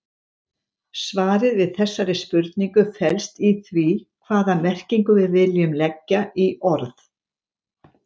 Svarið við þessari spurningu felst í því hvaða merkingu við viljum leggja í orð.